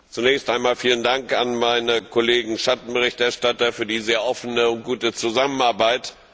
Zunächst einmal vielen Dank an meine Kollegen Schattenberichterstatter für die sehr offene und gute Zusammenarbeit.